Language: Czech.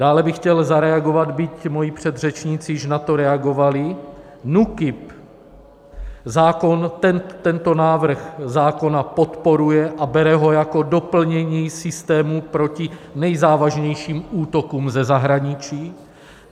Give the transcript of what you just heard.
Dále bych chtěl zareagovat, byť moji předřečníci již na to reagovali, NÚKIB tento návrh zákona podporuje a bere ho jako doplnění systému proti nejzávažnějším útokům ze zahraničí.